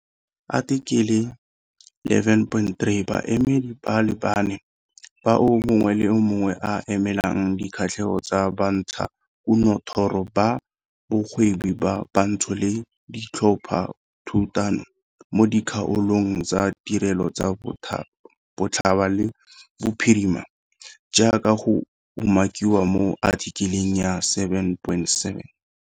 Athikele 11.3 Baemedi ba le bane, 4, bao mongwe le mongwe a emelang dikgatlhego tsa bantshakunothoro ba bogwebi ba bantsho le ditlhophathutano mo dikgaolong tsa tirelo tsa botlhaba le bophirima, jaaka go umakiwa mo athikeleng ya 7.7.